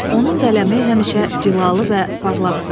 Onun qələmi həmişə cilalı və parlaqdır.